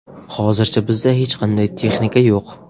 Hozircha bizda hech qanday texnika yo‘q.